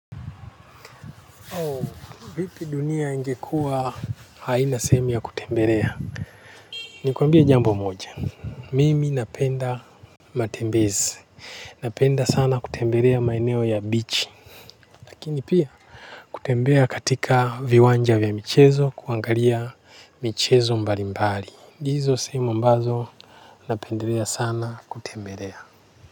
Vipi dunia ingekuwa haina sehemu ya kutembelea? Nikuambie jambo moja. Mimi napenda matembezi. Napenda sana kutembelea maeneo ya bichi. Lakini pia kutembea katika viwanja vya michezo kuangalia michezo mbali mbali. Hizo sehemu ambazo napenda sana kutembelea.